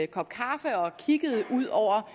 kop kaffe og kiggede ud over